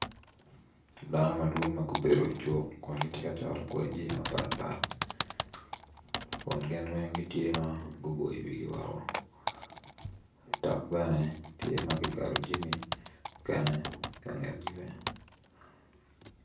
Dano madwong kun gitye ka cato jami mapatpat kun gin weng tye ma guboyo wigi woko dok bene tye ma guketo mukene i kangetgi bene.